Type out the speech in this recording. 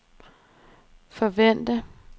forvente